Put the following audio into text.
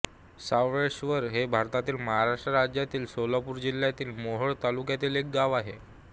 सावळेश्वर हे भारतातील महाराष्ट्र राज्यातील सोलापूर जिल्ह्यातील मोहोळ तालुक्यातील एक गाव आहे